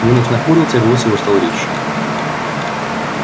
венус нахмурился и голос его стал резче